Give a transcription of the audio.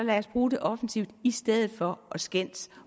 bruge det offensivt i stedet for at skændes